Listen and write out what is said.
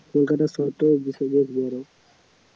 কলকাতা শহরটা বেসম্ভব বড়